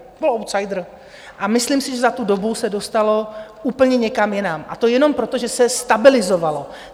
Bylo outsider a myslím si, že za tu dobu se dostalo úplně někam jinam, a to jenom proto, že se stabilizovalo.